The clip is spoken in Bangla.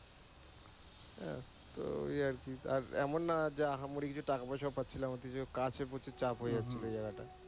আহ তো ঐ আরকি । এমন না যে আহামরি কিছু টাকা পয়সা ও পাচ্ছিলাম ওতে যে কাছের প্রতি চাপ হয়ে যাচ্ছিল ঐ জায়গা টা।